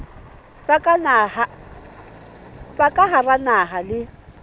tsa ka hara naha le